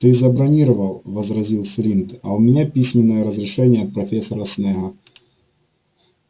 ты забронировал возразил флинт а у меня письменное разрешение от профессора снегга